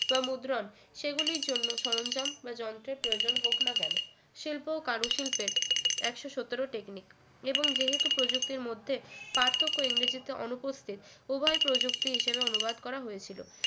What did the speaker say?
বা মুদ্রণ সেগুলির জন্য সরঞ্জাম বা যন্ত্রের প্রয়োজন হোক না কেন শিল্প ও কারুশিল্পের একশো সতেরো technic এবং যেহেতু প্রযুক্তির মধ্যে পার্থক্য ইংরেজিতে অনুপস্থিত উভয় প্রযুক্তি হিসেবে অনুবাদ করা হয়েছিল